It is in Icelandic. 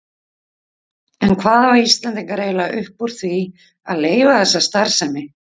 En hvað hafa Íslendingar eiginlega upp úr því að leyfa þessa starfsemi?